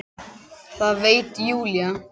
Það veit Júlía.